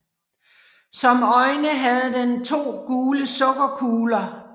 Som øjne havde den to gule sukkerkugler